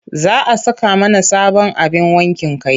Za a saka mana sabon abin wankin kai.